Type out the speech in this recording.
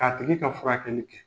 K'a tigi ka fura kɛli kɛ.